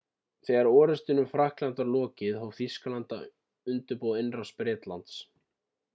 þegar orustanni um frakklandi var lokið hóf þýskaland að undirbúa innrás bretlands